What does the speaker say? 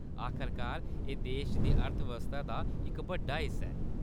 आखरकार, एह्‌‌ देश दी अर्थव्यवस्था दा इक बड्डा हिस्सा ऐ।